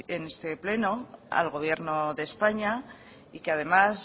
en este pleno al gobierno de españa y que además